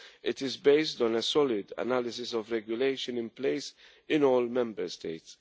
It is based on a solid analysis of regulation in place in all Member States.